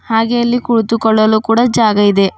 ಹಾಗೆ ಇಲ್ಲಿ ಕುಳಿತು ಕೊಳ್ಳಲು ಕೂಡ ಜಾಗ ಇದೆ.